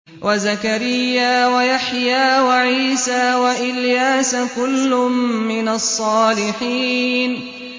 وَزَكَرِيَّا وَيَحْيَىٰ وَعِيسَىٰ وَإِلْيَاسَ ۖ كُلٌّ مِّنَ الصَّالِحِينَ